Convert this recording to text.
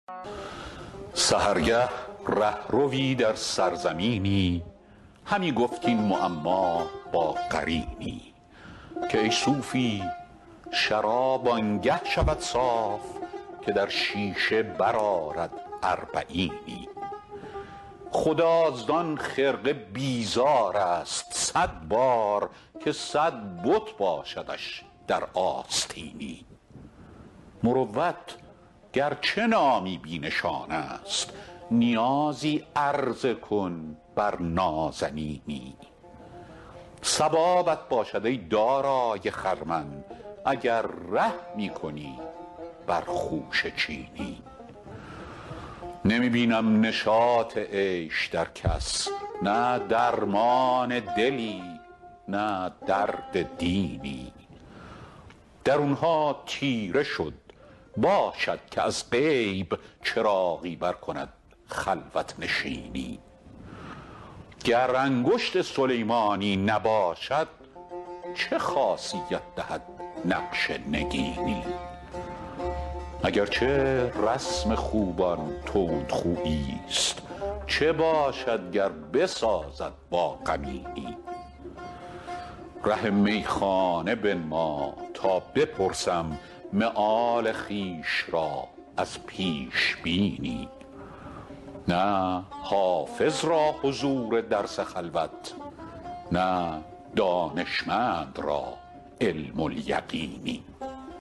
سحرگه ره ‎روی در سرزمینی همی گفت این معما با قرینی که ای صوفی شراب آن گه شود صاف که در شیشه برآرد اربعینی خدا زان خرقه بیزار است صد بار که صد بت باشدش در آستینی مروت گر چه نامی بی نشان است نیازی عرضه کن بر نازنینی ثوابت باشد ای دارای خرمن اگر رحمی کنی بر خوشه چینی نمی بینم نشاط عیش در کس نه درمان دلی نه درد دینی درون ها تیره شد باشد که از غیب چراغی برکند خلوت نشینی گر انگشت سلیمانی نباشد چه خاصیت دهد نقش نگینی اگر چه رسم خوبان تندخویی ست چه باشد گر بسازد با غمینی ره میخانه بنما تا بپرسم مآل خویش را از پیش بینی نه حافظ را حضور درس خلوت نه دانشمند را علم الیقینی